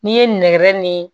N'i ye nɛgɛ ni